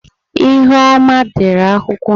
ihuoma dere akwukwo.